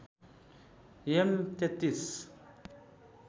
am ३३